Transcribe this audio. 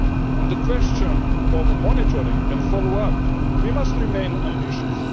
On the question of monitoring and follow up, we must remain ambitious.